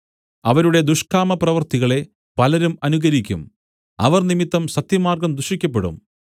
അവരുടെ ദുഷ്കാമപ്രവൃത്തികളെ പലരും അനുകരിക്കും അവർ നിമിത്തം സത്യമാർഗ്ഗം ദുഷിക്കപ്പെടും